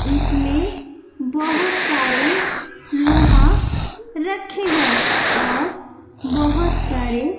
इसमें बहोत सारे लोहा रखे हैं और बहोत सारे--